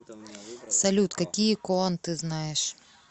салют какие коан ты знаешь